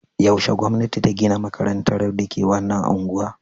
Yaushe gwamnati ta gina makarantar da ke wannan unguwa?